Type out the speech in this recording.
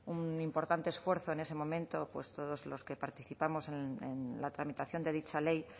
un importante esfuerzo en ese momento pues todos los que participamos en la tramitación de dicha ley